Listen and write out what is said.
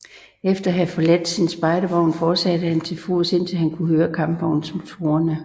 Efter at have forladt sin spejdervogn fortsatte han til fods indtil han kunne høre kampvognsmotorer